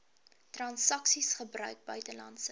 transaksies gebruik buitelandse